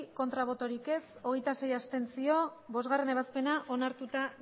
bai hogeita sei abstentzio bostgarrena ebazpena onartuta